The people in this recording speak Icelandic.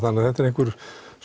einhvers